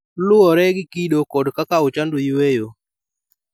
Luwore gi kido kod kaka ochando yueyo.